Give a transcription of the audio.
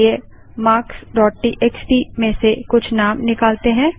चलिए marksटीएक्सटी में से कुछ नाम निकालते हैं